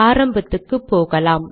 ஆரம்பத்துக்கு போகலாம்